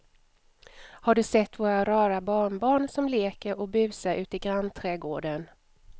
Har du sett våra rara barnbarn som leker och busar ute i grannträdgården!